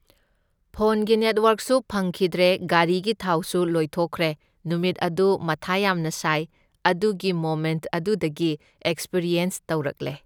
ꯐꯣꯟꯒꯤ ꯅꯦꯠꯋꯥꯛꯁꯨ ꯐꯪꯈꯤꯗ꯭ꯔꯦ, ꯒꯥꯔꯤ ꯊꯥꯎꯁꯨ ꯂꯣꯏꯊꯣꯛꯈ꯭ꯔꯦ, ꯅꯨꯃꯤꯠ ꯑꯗꯨ ꯃꯊꯥ ꯌꯥꯝꯅ ꯁꯥꯢ, ꯑꯗꯨꯒꯤ ꯃꯣꯃꯦꯟꯠ ꯑꯗꯨꯗꯒꯤ ꯑꯦꯛꯁꯄꯔꯤꯌꯦꯟꯁ ꯇꯧꯔꯛꯂꯦ꯫